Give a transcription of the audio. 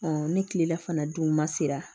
ni kilela fana dun ma se ka